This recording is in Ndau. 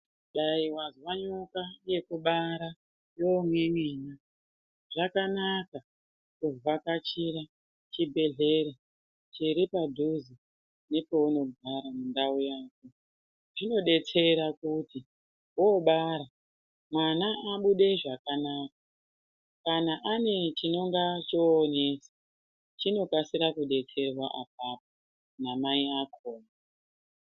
Dai wazwa nyoka yekubada mukuwo umweni zvakanaka kuvhakachira chibhedhlera chiri padhuze nepeunogara mundau mwako zvinodetsera kuti paunobara mwana abude zvakanaka kana ane chinonga chonesa chinokasira kudetserwa apapo namai akona.